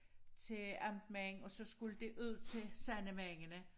Til amtmænd og så skulle det ud til sandemændene